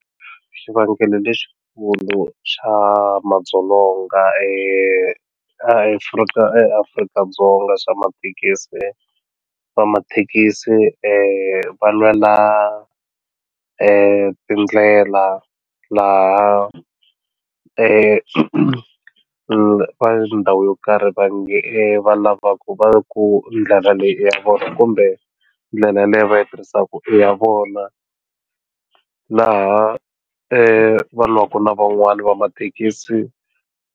Xivangelo lexikulu xa madzolonga eAfrika eAfrika-Dzonga swa mathekisi va mathekisi va lwela tindlela laha ndhawu yo karhi va nge va lava ku va ku ndlela leyi i ya vona kumbe ndlela leyi va yi tirhisaka i ya vona laha va lwaka na van'wana va mathekisi.